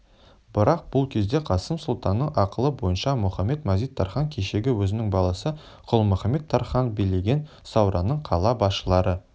бірақ бұл кезде қасым сұлтанның ақылы бойынша мұхамед-мазит-тархан кешегі өзінің баласы күлмұхамед-тархан билеген сауранның қала басшылары